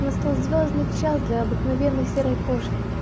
настал звёздный час для обыкновенной серой кошки